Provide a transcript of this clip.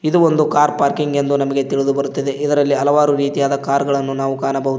ಇದು ಒಂದು car parking ಎಂದು ನಮಗೆ ತಿಳಿದು ಬರುತ್ತದೆ ಇದರಲ್ಲಿ ಹಲವಾರು ರೀತಿಯಾದ ಕಾರ್ಗಳನ್ನು ನಾವು ಕಾಣಬಹುದು.